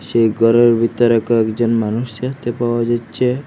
সেই গরের বিতরে কয়েকজন মানুষ দেখতে পাওয়া যাচ্চে।